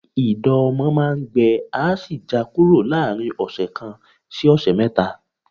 Ìdọ̀ ọmọ máa ń gbẹ á sì já kúrò láàrin ọ̀sẹ̀ kan sí ọ̀sẹ̀ mẹ́ta